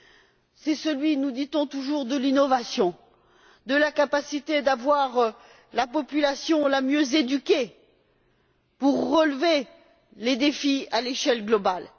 Ce sont ceux, nous dit on toujours, de l'innovation, de la capacité d'avoir la population la mieux éduquée pour relever les défis à l'échelle globale.